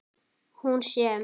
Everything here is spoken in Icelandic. Hún sem.